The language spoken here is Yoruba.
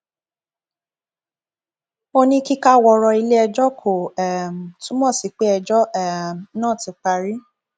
ó ní kíkáwọrọ iléẹjọ kò um túmọ sí pé ẹjọ um náà ti parí